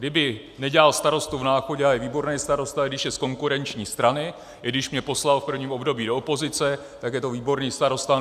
Kdyby nedělal starostu v Náchodě - a je výborný starosta, i když je z konkurenční strany, i když mě poslal v prvním období do opozice - tak je to výborný starosta.